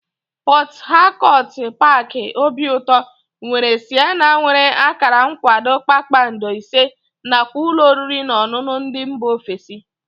Pọt Hakọt paaki obiụtọ nwere sịnema nwere akara nkwado kpakpando ise nakwa ụlọ oriri na ọṅụṅụ ndị mba ofesi